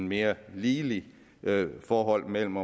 mere ligeligt forhold mellem